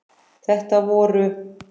Þetta voru